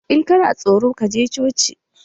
In kana tsoro, ka je coci